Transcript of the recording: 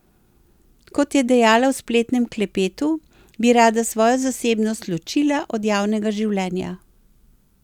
Kot je dejala v spletnem klepetu, bi rada svojo zasebnost ločila od javnega življenja.